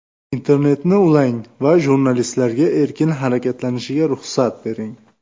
Internetni ulang va jurnalistlarga erkin harakatlanishiga ruxsat bering.